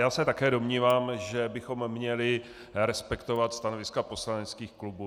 Já se také domnívám, že bychom měli respektovat stanoviska poslaneckých klubů.